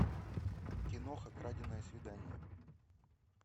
киноха краденое свидание